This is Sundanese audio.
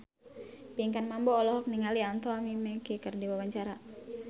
Pinkan Mambo olohok ningali Anthony Mackie keur diwawancara